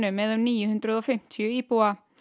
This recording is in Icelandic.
með um níu hundruð og fimmtíu íbúa